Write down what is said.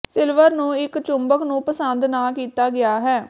silver ਨੂੰ ਇੱਕ ਚੁੰਬਕ ਨੂੰ ਪਸੰਦ ਨਾ ਕੀਤਾ ਗਿਆ ਹੈ